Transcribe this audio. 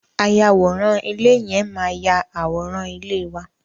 Ayàwòrán ilé yẹn máa yà àwòrán ilé wa.